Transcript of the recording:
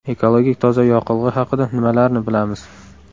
Ekologik toza yoqilg‘i haqida nimalarni bilamiz?